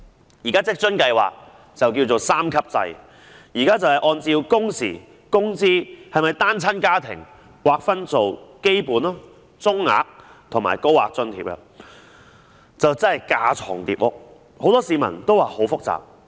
現時的職津計劃是三級制，按照工時、工資，以及是否單親家庭劃分基本、中額和高額津貼，可謂架床疊屋，很多市民也說十分複雜。